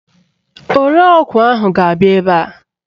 Ore ọgwụ ahụ ga-abịa ebe a.